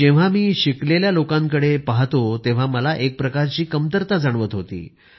जेव्हा मी शिकलेल्या लोकांकडे पहातो तेव्हा मला एक प्रकारची कमतरता जाणवत होती